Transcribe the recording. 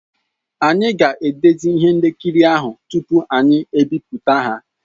Anyị ga-edezi ihe nkiri ahụ tupu anyị ebipụta ya.